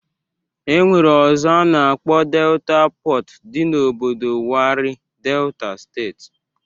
E nwere ọzọ a na-akpọ Delta Pọt, dị n'obodo Warri, Delta steeti